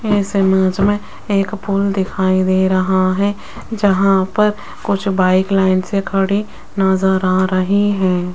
इस इमेज में एक पूल दिखाई दे रहा है जहां पर कुछ बाइक लाइन से खड़ी नजर आ रही हैं।